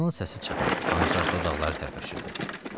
Qazının səsi çıxmırdı, ancaq dodaqları tərpəşirdi.